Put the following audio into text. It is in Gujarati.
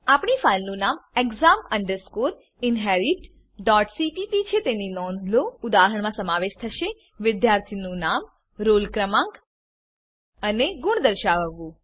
આપણી ફાઈલનું નામ exam inheritcpp છે તેની નોંધ લો ઉદાહરણમાં સમાવેશ થશે વિદ્યાર્થીનું નામ રોલ ક્રમાંક અને ગુણ દર્શાવવું